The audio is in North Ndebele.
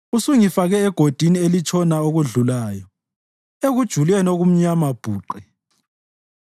Usungifake egodini elitshona okudlulayo, ekujuleni okumnyama bhuqe.